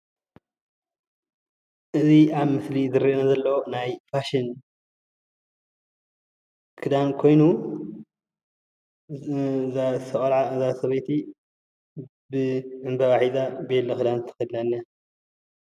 እዚ ኣብ ምስሊ ዝረአ ዘሎ ናይ ፋሽን ክዳን ኮይኑ እዛ ሰበይቲ ብዕምበባ ሒዛ ቤሎ ክዳን ተከዲና እኒሃ፡፡